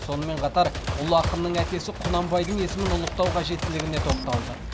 сонымен қатар ұлы ақынның әкесі құнанбайдың есімін ұлықтау қажеттілігіне тоқталды